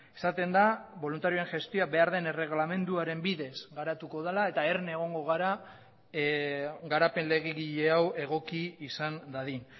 esaten da boluntarioen gestioa behar den erreglamenduaren bidez garatuko dela eta erne egongo gara garapen legegile hau egoki izan dadin